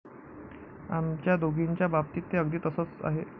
आमच्या दोघींच्या बाबतीत ते अगदी तसंच आहे.